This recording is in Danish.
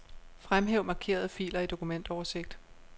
Fremhæv markerede filer i dokumentoversigt.